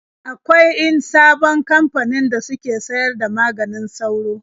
Akwain sabon kamfanin da suke sayar da maganin sauro.